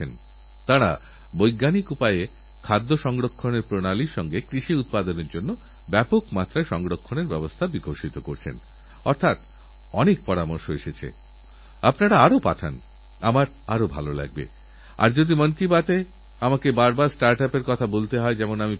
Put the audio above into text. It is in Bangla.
যে ট্রেনে মহাত্মা গান্ধী সফর করেছিলেনযে ট্রেনের ঘটনায় জনৈক মোহনদাসকে মহাত্মা গান্ধীতে পরিণত করার বীজবপন হয়েছিল আমারসৌভাগ্য হয়েছিল সেই পিটারমারিৎসবুর্গ স্টেশন থেকে সেই ট্রেনে সফর করার কিন্তু আমিযে কথা বলতে চাইছি তা হল এবার আমার সেই মহান মানুষদের সঙ্গে মিলিত হওয়ার সুযোগহয়েছিল যাঁরা নিজেদের জীবন নিয়োজিত করেছেন সকলের সমানাধিকারের জন্য সকলের সমানসুযোগের জন্য